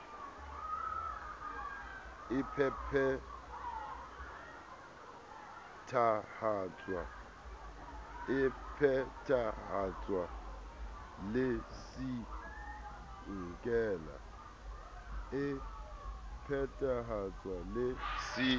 e phethahatswe le c nkela